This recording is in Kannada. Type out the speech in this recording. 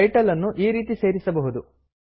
ಟೈಟಲ್ ನ್ನು ಈ ರೀತಿಯಲ್ಲಿ ಸೇರಿಸಬಹುದು